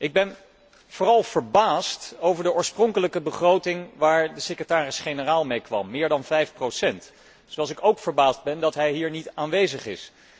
Ik ben vooral verbaasd over de oorspronkelijke begroting waar de secretaris generaal mee kwam, meer dan 5 procent hoger, zoals ik ook verbaasd ben over het feit dat hij hier niet aanwezig is.